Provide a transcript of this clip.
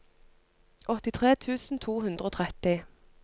åttitre tusen to hundre og tretti